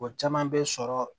O caman bɛ sɔrɔ